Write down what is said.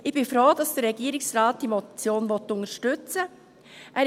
Ich bin froh, dass der Regierungsrat diese Motion unterstützen will.